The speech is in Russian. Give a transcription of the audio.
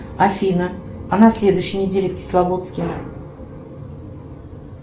афина а на следующей неделе в кисловодске